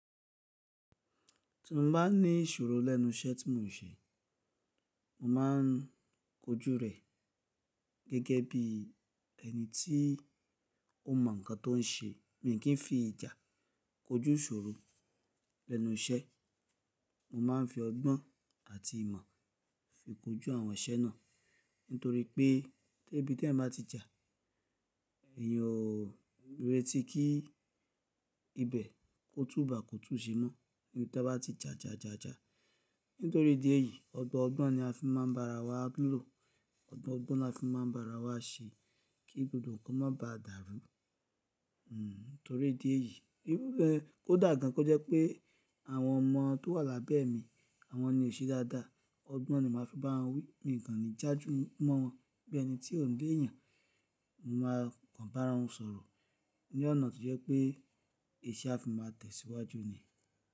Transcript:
Tí mo bá ní ìṣòro lẹ́nu iṣẹ́ tí mò ń ṣe, mo máa ń kojú rẹ̀ gẹ́gẹ́ bí ẹni tí ó mọ nǹkan tó ń ṣe. Mi kí ń fi ìjà kojú ìṣòro lẹ́nu iṣẹ́. Mo máa ń fi ọgbọ́n àti ìmọ̀ fi kojú àwọn iṣẹ́ náà. Nítorí pé tébi t'eeyan bá ti jà, ẹ̀yàn o rètí kí ibẹ̀ kó tú bàá kó tù ú ṣe mọ́. Níbi tá bá ti jà jà jà jà. Nítorí ìdí èyí, ọgbọ ọgbọ̀n ni a fi máa ń bá ara wa lò, ọgbọ ọgbọ̀n ni a fi máa ń bá ara wa ṣe kí gbogbo nǹkan má baà dàrú. Hmm torí ìdí èyí, kódà gan kó jẹ́ pé àwọn ọmọ tó wà lábẹ́ mi, àwọn ni ò ṣe dáadáa. Ọgbọ́n ni màá fi bá wọn wí, miì kàn ní jájú mọ́ wọn. Bí ẹni tí ò léèyàn, mo máa kàn bára wọn sọ̀rọ̀ ní ọ̀nà tó jẹ́ pé iṣẹ́ a fi máa tẹ̀síwájú ni.